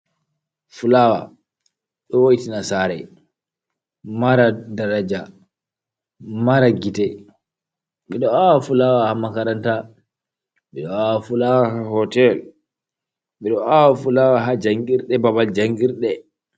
fulaawa ɗo wo'itina saare mara daraja mara gite. Ɓe ɗo aawa fulaawa haa makaranta, ɓe ɗo aawa fulaawa haa hotel, ɓe ɗo aawa fulaawa haa janngirɗe babal janngirɗe.